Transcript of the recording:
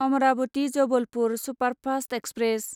Amravati Jabalpur superfast express